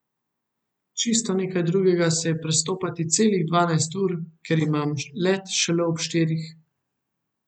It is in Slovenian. Čisto nekaj drugega se je prestopati celih dvanajst ur, ker imam let šele ob štirih.